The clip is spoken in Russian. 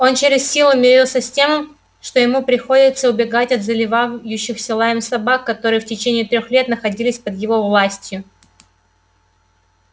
он через силу мирился с тем что ему приходится убегать от заливающихся лаем собак которые в течение трёх лет находились под его властью